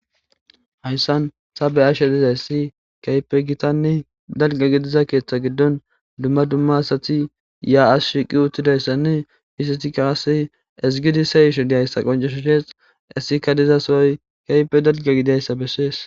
hayssan sabeashe dizayssi keype gitanne dalga gidiza keeththa giddon dumma dumma asati ya7as shiiqi uttidayssanne isiti kaasi ezigidi seyisho diyayssa qonceshoshees essika dizasooy keype dalga gidayssa bessees